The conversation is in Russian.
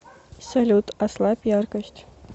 салют ослабь яркость